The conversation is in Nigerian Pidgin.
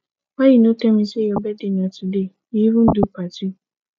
why you no tell me say your birthday na today you even do party